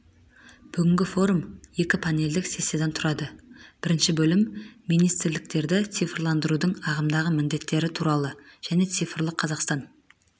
бүгінгі форум екі панельдік сессиядан тұрады бірінші бөлім министрліктерді цифрландырудың ағымдағы міндеттері туралы және цифрлық қазақстан